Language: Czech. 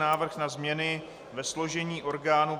Návrh na změny ve složení orgánů